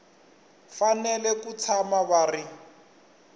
fanele ku tshama va ri